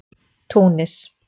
Túnis